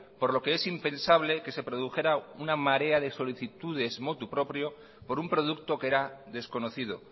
por lo que es impensable que se produjera una marea de solicitudes motu proprio por un producto que era desconocido